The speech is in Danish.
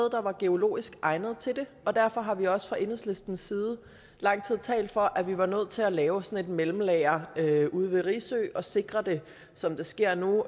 der var geologisk egnet til det og derfor har vi også fra enhedslistens side i lang tid talt for at vi var nødt til at lave sådan et mellemlager ude ved risø og sikre det som det sker nu